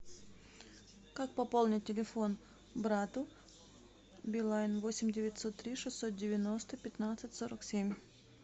как пополнить телефон брату билайн восемь девятьсот три шестьсот девяносто пятнадцать сорок семь